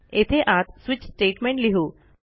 येथे आत switch statement लिहू